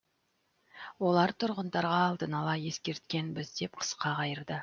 олар тұрғындарға алдын ала ескерткенбіз деп қысқа қайырды